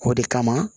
O de kama